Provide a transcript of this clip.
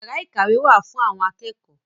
Yàrá ìkàwé wá fún àwọn akẹ́kọ̀ọ́